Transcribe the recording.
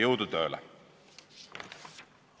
Jõudu tööle!